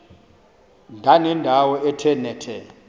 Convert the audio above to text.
ndanendawo ethe nethe